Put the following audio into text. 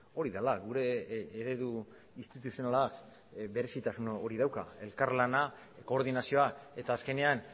hori dela gure eredu instituzionala berezitasun hori dauka elkarlana koordinazioa eta azkenean